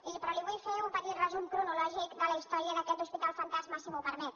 miri però li vull fer un petit resum cronològic de la història d’aquest hospital fantasma si m’ho permet